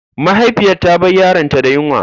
Mahaifiyar ta bar yaronta da yunwa.